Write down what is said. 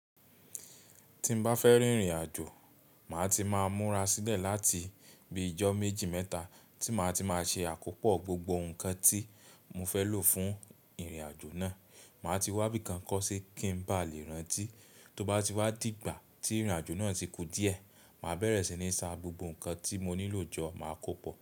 Tí n bá fẹ́ rìn ìrìn àjò, mà ti mà múra sílẹ̀ láti bíi ọjọ́ méjì mẹ́ta, tí mà ti mà ṣe àkópọ̀ gbogbo ǹkan tí mo fẹ́ lò fún ìrìn àjò àjò náà. Mà ti wá ibìkan kó sí kí n bá lè rántí. Tó bá ti wá dìgbà tí ìrìn àjò náà ti kù díẹ̀, mà bẹ̀rẹ̀ síní ṣà gbogbo ǹkan tí mo nílò jọ mà kó pọ̀.